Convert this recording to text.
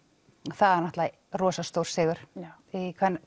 það er náttúrulega rosa stór sigur í